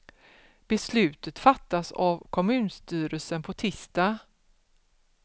Beslutet fattas av kommunstyrelsen på tisdag.